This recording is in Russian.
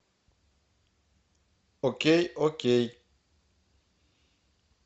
окей окей